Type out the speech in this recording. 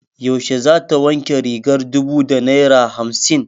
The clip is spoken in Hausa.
Yaushe za ta wanke rigar dubu da naira hamsin?